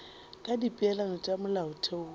ka dipeelano tša molaotheo wo